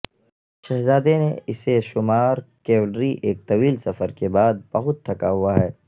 شہزادے نے اسے شمار کیولری ایک طویل سفر کے بعد بہت تھکا ہوا ہے